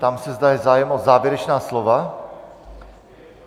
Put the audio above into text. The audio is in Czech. Ptám se, zda je zájem o závěrečná slova?